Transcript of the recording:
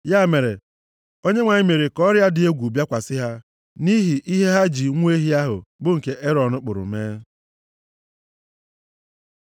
Ya mere, Onyenwe anyị mere ka ọrịa dị egwu bịakwasị ha, nʼihi ihe ha ji nwa ehi ahụ, bụ nke Erọn kpụrụ mee.